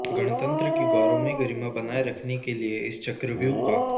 गणतंत्र की गौरवमयी गरिमा बनाए रखने के लिए इस चक्रव्युह का